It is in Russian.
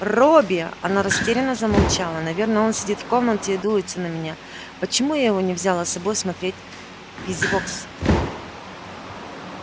робби она растерянно замолчала наверно он сидит в комнате и дуется на меня почему я его не взяла с собой смотреть визивокс